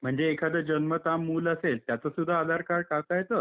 म्हणजे एखादं जन्मतः मूल असेल, त्याचं सुद्धा आधार कार्ड काढता येतं?